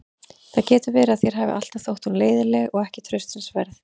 Það getur verið að þér hafi alltaf þótt hún leiðinleg og ekki traustsins verð.